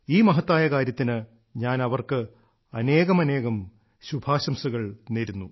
ഈ മഹത്തായ കാര്യത്തിന് ഞാൻ അവർക്ക് അനേകമനേകം ശുഭാശംസകൾ നേരുന്നു